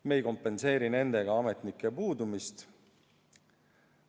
Me ei kompenseeri nendega ametnike puudumist.